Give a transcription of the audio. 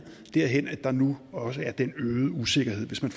derhen at der nu også er den øgede usikkerhed hvis man